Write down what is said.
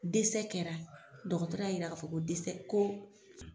kɛra dɔkɔtɔrɔ y'a yira k'a fɔ ko ko